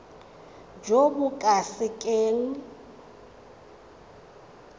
jo bo ka se keng